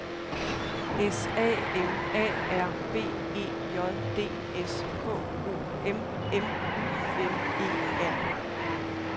S A M A R B E J D S K O M M U N E R